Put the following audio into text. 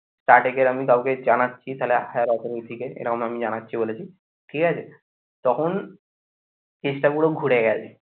Starting এর আমি কাউকে জানাচ্ছি তাহলে higher authority কে এরম আমি জানাচ্ছি বলেছি ঠিক আছে তখন case টা পুরো ঘুরে গেছে